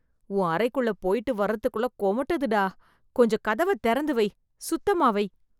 உன் அறைக்குள்ள போய்ட்டு வரதுக்குள்ள கொமட்டுதுடா. கொஞ்சம் கதவ தெறந்து வை, சுத்தமா வை.